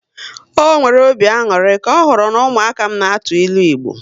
Ọ nwere obi aṅụrị ka ọ hụrụ n'umuaka m n' atụ ịlụ Igbo